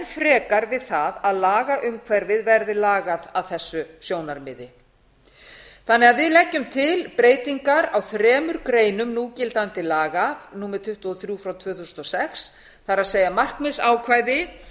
frekar við það að lagaumhverfið verði lagað að þessu sjónarmiði við leggjum því til breytingar á þremur greinum núgildandi laga númer tuttugu og þrjú tvö þúsund og sex það er markmiðsákvæði